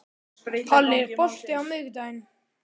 Palli, er bolti á miðvikudaginn?